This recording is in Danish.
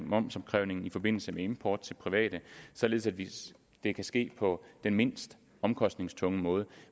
momsopkrævningen i forbindelse med import til private således at det kan ske på den mindst omkostningstunge måde